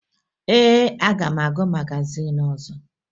Ee, aga m agụ magazin ọzọ